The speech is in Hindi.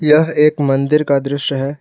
यह एक मंदिर का दृश्य है।